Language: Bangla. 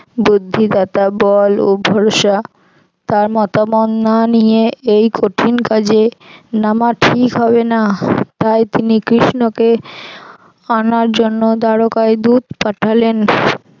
বুদ্ধিদাতা বল ও ভরসা তার মতামত না নিয়ে এই কঠিন কাজে নামা ঠিক হবে না তাই তিনি কৃষ্ণকে আনার জন্য দ্বারোকায় দূত পাঠালেন।